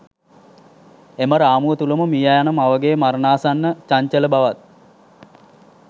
එම රාමුව තුළම මියයන මවගේ මරණාසන්න චංචල බවත්